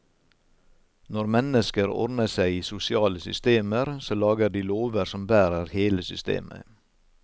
Når mennesker ordner seg i sosiale systemer, så lager de lover som bærer hele systemet.